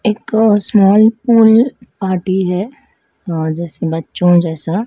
एक small pool आती हैं जिस बच्चों जैसा।